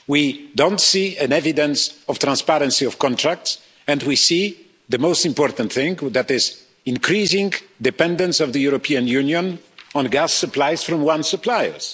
We don't see evidence of transparency of contract, and we see the most important thing increasing dependence of the European Union on gas supplies from one supplier.